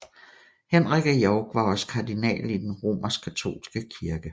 Henrik af York var også kardinal i den Romerskkatolske kirke